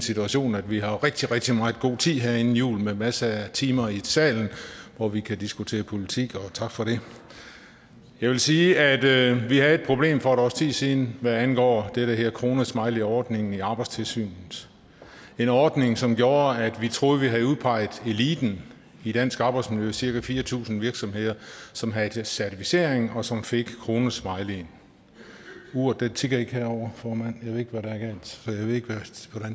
situation at vi har rigtig rigtig meget god tid her inden jul med masser af timer i salen hvor vi kan diskutere politik og tak for det jeg vil sige at vi havde et problem for et års tid siden hvad angår den her kronesmileyordning i arbejdstilsynet en ordning som gjorde at vi troede at vi havde udpeget eliten i dansk arbejdsmiljø nemlig cirka fire tusind virksomheder som havde certificering og som fik kronesmileyen uret tikker ikke herovre formand ved ikke hvordan